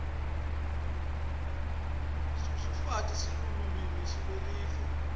sususafi silulwimi lweesive